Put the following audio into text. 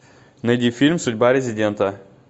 найди фильм судьба резидента